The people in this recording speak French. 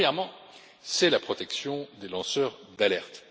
Premièrement, c'est la protection des lanceurs d'alerte.